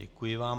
Děkuji vám.